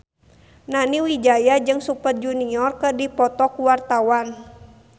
Nani Wijaya jeung Super Junior keur dipoto ku wartawan